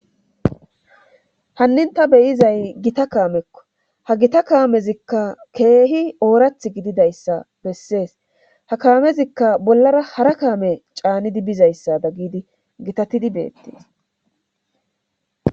hannin ta beyizay gita kaamekko ha gita kaamezikka keehi oorath gididayssa bessees ha kaamezikka bollara hara kaame caanidi bizayssa da gidi gitatidi beettes